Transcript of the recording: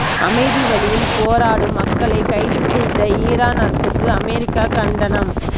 அமைதி வழியில் போராடும் மக்களை கைது செய்த ஈரான் அரசுக்கு அமெரிக்கா கண்டனம்